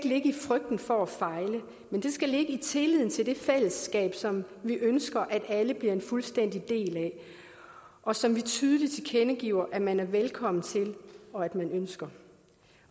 ligge i frygten for at fejle men det skal ligge i tilliden til det fællesskab som vi ønsker at alle bliver en fuldstændig del af og som vi tydeligt tilkendegiver at man er velkommen til og at man ønsker